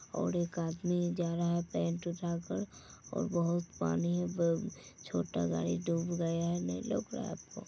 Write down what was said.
और एक आदमी जा रहा है पैंट उठा कर और बहुत पानी है ब छोटा गाडी डुब गया है नीलो--